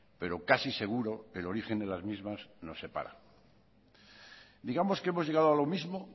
pero casi seguro el origen de las mismas nos separa digamos que hemos llegado a lo mismo